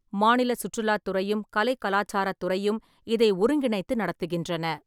மாநில சுற்றுலாத் துறையும், கலை கலாச்சாரத் துறையும் இதை ஒருங்கிணைத்து நடத்துகின்றன.